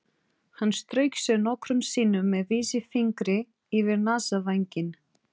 Hann strauk sér nokkrum sinnum með vísifingri yfir nasavænginn.